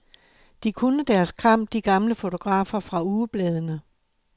De kunne deres kram, de gamle fotografer fra ugebladene.